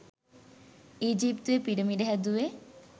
ඊජිප්තුවෙ pyramid හැදුවෙ